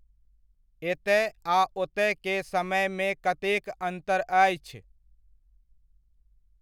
एतय आ ओतय के समयमे कतेक अन्तर आछि?